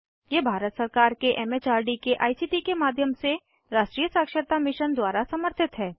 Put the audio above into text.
यह भारत सरकार के एम एच आर डी के आई सी टी के माध्यम से राष्ट्रीय साक्षरता मिशन द्वारा समर्थित है